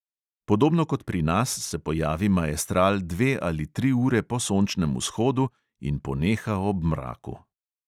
Podobno kot pri nas se pojavi maestral dve ali tri ure po sončnem vzhodu in poneha ob mraku.